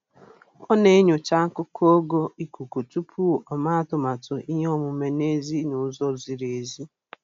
Ọ na-enyocha akụkọ ogo ikuku tupu o mee atụmatụ ihe omume n'èzí n'ụzọ ziri ezi